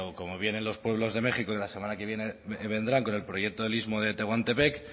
como vienen los pueblos de méxico y la semana que viene vendrán con el proyecto